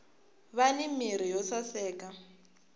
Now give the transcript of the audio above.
vani mirhi yo saseka